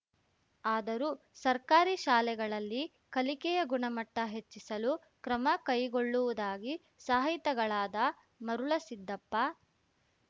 ಆದರೂ ಸರ್ಕಾರಿ ಶಾಲೆಗಳಲ್ಲಿ ಕಲಿಕೆಯ ಗುಣಮಟ್ಟ ಹೆಚ್ಚಿಸಲು ಕ್ರಮ ಕೈಗೊಳ್ಳುವುದಾಗಿ ಸಾಹಿತಿಗಳಾದ ಮರುಳಸಿದ್ದಪ್ಪ